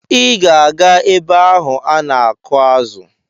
Ị ga-aga ebe ahụ ana-akụ̀ azụ!